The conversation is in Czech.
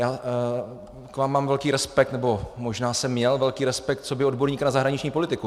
Já k vám mám velký respekt, nebo možná jsem měl velký respekt coby odborníkovi na zahraniční politiku.